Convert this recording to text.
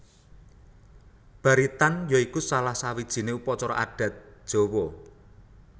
Baritan ya iku salah sawijiné upacara adat Jawa